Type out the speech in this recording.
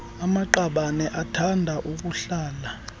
amaqabane athanda ukuhlala